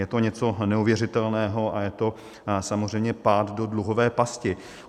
Je to něco neuvěřitelného a je to samozřejmě pád do dluhové pasti.